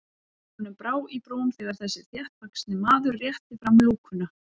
Honum brá í brún þegar þessi þéttvaxni maður rétti fram lúkuna.